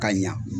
Ka ɲa